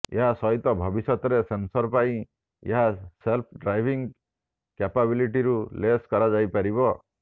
ଏହା ସହିତ ଭବିଷ୍ୟତରେ ସେନସର ପାଇଁ ଏହା ସେଲ୍ଫ ଡ୍ରାଇଭିଙ୍ଗ୍ କ୍ୟାପାବଲିଟିରୁ ଲେସ୍ କରାଯାଇପାରିବ